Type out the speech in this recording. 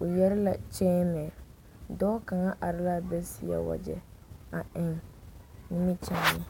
o yɛre la kyeemɛ, dɔɔ kaŋ are la be a seɛ wagyɛ a eŋ nimikyaane.